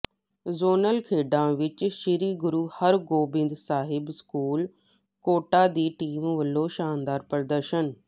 zonal ਖੇਡਾਾ ਵਿਚ Sri Guru Hargobind Sahib school Kota ਦੀ ਟੀਮ ਵੱਲੋਂ ਸ਼ਾਨਦਾਰ ਪ੍ਰਦਰਸ਼ਨ